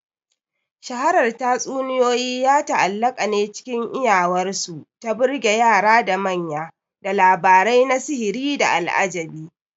Shaharar tatsuniyoyi ya ta'allaƙa ne cikin iyawarsu ta burge yara da manya da labarai na sihiri da al'ajabi.